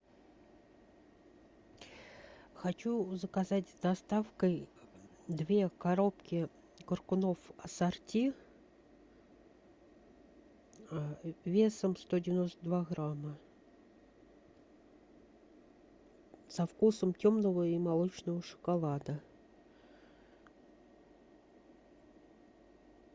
хочу заказать с доставкой две коробки коркунов ассорти весом сто девяносто два грамма со вкусом темного и молочного шоколада